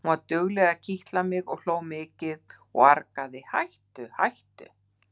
Hún var dugleg að kitla mig og ég hló mikið og argaði: Hættu hættu!